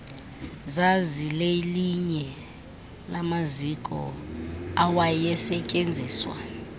zazilelinye lamaziko awayesetyenziswa